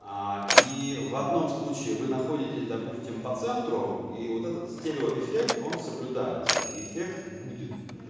а и в одном случае вы находитесь допустим по центру и вот этот стереоэффект он соблюдается и эффект будет